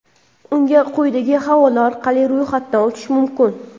Unga quyidagi havola orqali ro‘yxatdan o‘tish mumkin.